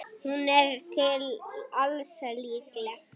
Hún er til alls líkleg.